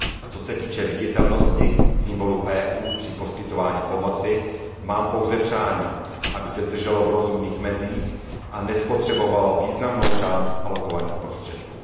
Co se týče viditelnosti symbolů EU při poskytování pomoci, mám pouze přání, aby se držela v rozumných mezích a nespotřebovala významnou část alokovaných prostředků.